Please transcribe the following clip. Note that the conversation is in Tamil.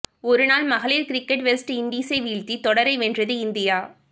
ஒருநாள் மகளிர் கிரிக்கெட் வெஸ்ட் இண்டீசை வீழ்த்தி தொடரை வென்றது இந்தியா